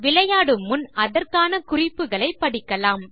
விளையாடும் முன் அதற்கான குறிப்புகளை படிக்கலாம்